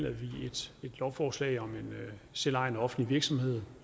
vi et lovforslag om en selvejende offentlig virksomhed